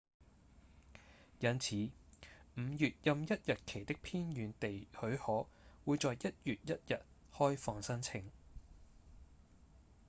因此5月任一日期的偏遠地許可會在1月1日開放申請